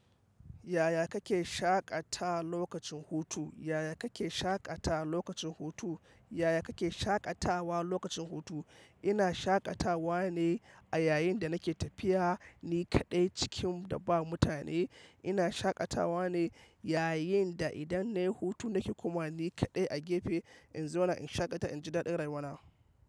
Yaya kake shaƙatawa lokacin hutu? Yaya kake shaƙatawa lokacin hutu? Yaya kake shaƙatawa lokacin hutu? Ina shaƙatawa ne a yayin da nake tafiya, ni kaɗai cikin da ba mutane. Ina shaƙatawa ne yayin da idan nayi hutu nake komawa ni kaɗai a gefe in zauna in shaƙata in ji daɗin rayuwa na.